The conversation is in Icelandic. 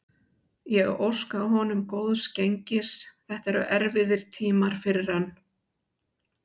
Ég óska honum góðs gengis, þetta eru erfiðir tímar fyrir hann.